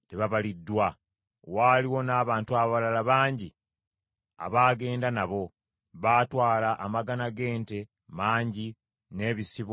Waaliwo n’abantu abalala bangi abaagenda nabo. Baatwala amagana g’ente mangi, n’ebisibo, bingi nnyo.